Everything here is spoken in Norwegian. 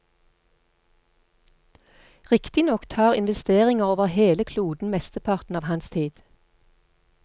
Riktignok tar investeringer over hele kloden mesteparten av hans tid.